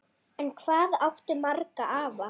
En hvað áttu marga afa?